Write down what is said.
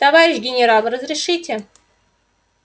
товарищ генерал разрешите